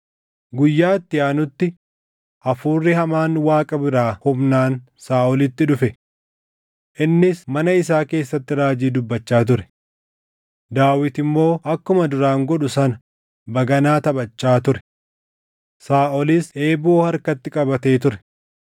Guyyaa itti aanutti hafuurri hamaan Waaqa biraa humnaan Saaʼolitti dhufe. Innis mana isaa keessatti raajii dubbachaa ture; Daawit immoo akkuma duraan godhu sana baganaa taphachaa ture. Saaʼolis eeboo harkatti qabatee ture;